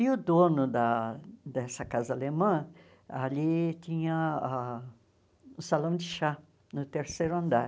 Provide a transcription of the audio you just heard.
E o dono da dessa casa alemã, ali tinha ah o salão de chá, no terceiro andar.